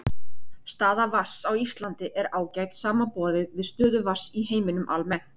Staða vatns á Íslandi er ágæt samanborið við stöðu vatns í heiminum almennt.